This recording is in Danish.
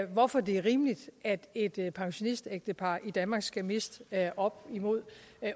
hvorfor det er rimeligt at et pensionistægtepar i danmark skal miste op imod